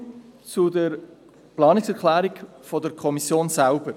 So viel zur Planungserklärung der Kommission selber.